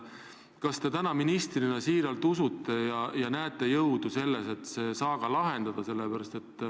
Kas te täna ministrina siiralt usute võimalust see saaga lahendada?